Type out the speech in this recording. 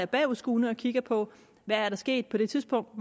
bagudskuende og kigge på hvad der skete på det tidspunkt